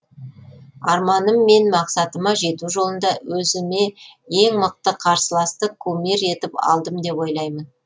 арманым мен мақсатыма жету жолында өзіме ең мықты қарсыласты кумир етіп алдым деп ойлаймын